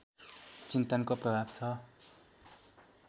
चिन्तनको प्रभाव छ